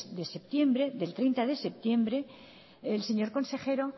del treinta de septiembre el señor consejero